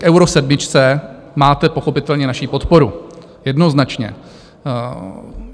V Euro sedmičce máte pochopitelně naši podporu, jednoznačně.